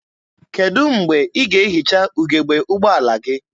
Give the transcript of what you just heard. Kedụ mgbe ị ga-ehicha ugebe ụgbọala gị?